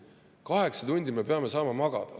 Aga kaheksa tundi me peame saama magada.